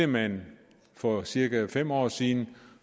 man for cirka fem år siden ville